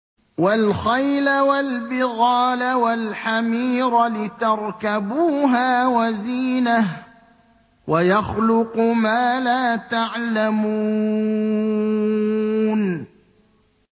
وَالْخَيْلَ وَالْبِغَالَ وَالْحَمِيرَ لِتَرْكَبُوهَا وَزِينَةً ۚ وَيَخْلُقُ مَا لَا تَعْلَمُونَ